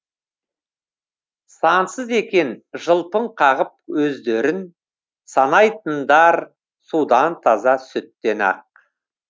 сансыз екен жылпың қағып өздерін санайтындар судан таза сүттен ақ